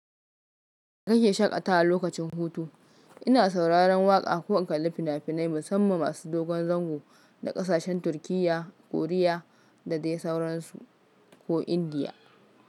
Nake shaƙatawa lokacin hutu? Ina sauraron waƙa ko in kalli fina-finai, musamman masu dogon zango na ƙasashen Turkiyya, Koriya da dai sauransu ko Indiya.